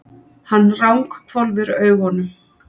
Hann ranghvolfir augunum.